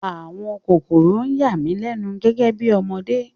Àwọn kòkòrò yà mí lẹ́nu gẹ́gẹ́ bí ọmọdé